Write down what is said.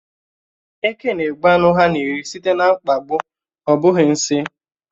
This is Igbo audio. Eke na-egbu ánụ ha na-eri sìté na mkpagbu, ọ bụghị nsị.